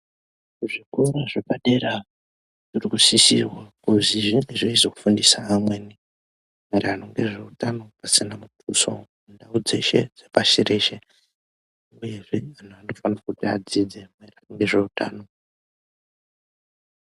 Kuzvikora zvepadera zvirikusisirwa kuti zviziye zveizofundisa amweni maererano nezveutano tsanangudzo dzeshe dzepashi reshe uyezve anhu anofanire kuti adzidze nezveutano